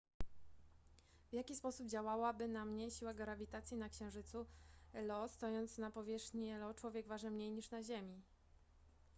w jaki sposób działałaby na mnie siła grawitacji na księżycu io stojąc na powierzchni io człowiek waży mniej niż na ziemi